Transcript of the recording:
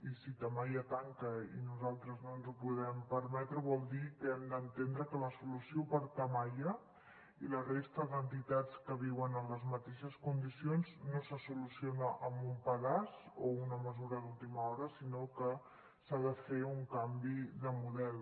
i si tamaia tanca i nosaltres no ens ho podem permetre vol dir que hem d’entendre que la solució per a tamaia i la resta d’entitats que viuen en les mateixes condicions no se soluciona amb un pedaç o una mesura d’última hora sinó que s’ha de fer un canvi de model